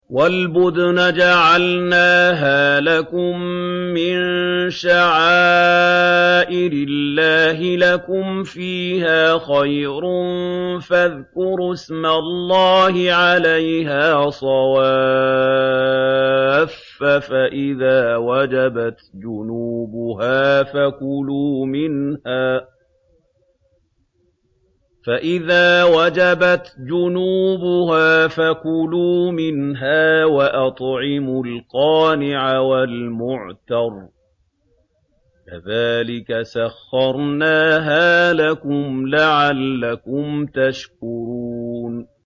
وَالْبُدْنَ جَعَلْنَاهَا لَكُم مِّن شَعَائِرِ اللَّهِ لَكُمْ فِيهَا خَيْرٌ ۖ فَاذْكُرُوا اسْمَ اللَّهِ عَلَيْهَا صَوَافَّ ۖ فَإِذَا وَجَبَتْ جُنُوبُهَا فَكُلُوا مِنْهَا وَأَطْعِمُوا الْقَانِعَ وَالْمُعْتَرَّ ۚ كَذَٰلِكَ سَخَّرْنَاهَا لَكُمْ لَعَلَّكُمْ تَشْكُرُونَ